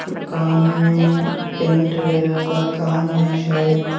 दुकान में पेंट वगैरा का काम है शायद--